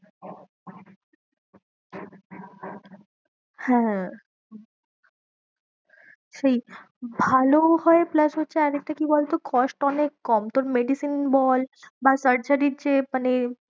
হ্যাঁ সেই ভালো হয় plus হচ্ছে আর একটা কি বলতো cost অনেক কম তোর medicine বল বা surgery র যে মানে